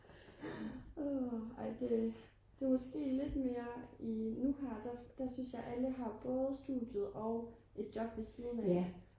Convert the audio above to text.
ej det er måske lidt mere i nu her der synes jeg alle har både studiet og et job ved siden af